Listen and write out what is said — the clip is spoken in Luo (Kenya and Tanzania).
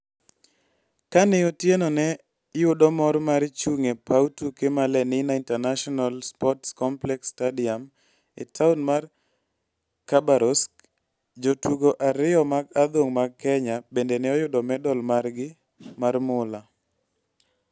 Kane Otieno ne yudo mor mar chung' e paw tuke mar Lenina International Sports Complex-Stadium e taon mar Khabarovsk, jotugo ariyo mag adhong' mag Kenya bende ne oyudo medal margi mar mula.